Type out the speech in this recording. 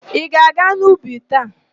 Ị ga-aga n'ubi taa?